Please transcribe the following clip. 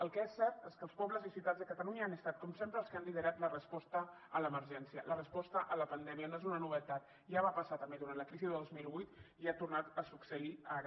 el que és cert és que els pobles i ciutats de catalunya han estat com sempre els que han liderat la resposta a l’emergència la resposta a la pandèmia no és una novetat ja va passar també durant la crisi de dos mil vuit i ha tornat a succeir ara